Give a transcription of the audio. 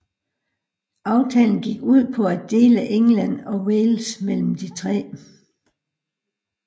Aftalen gik ud på at dele England og Wales mellem de tre